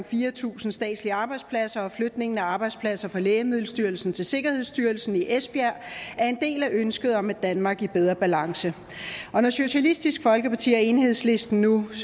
fire tusind statslige arbejdspladser og flytningen af arbejdspladser fra lægemiddelstyrelsen til sikkerhedsstyrelsen i esbjerg er en del af ønsket om et danmark i bedre balance og når socialistisk folkeparti og enhedslisten nu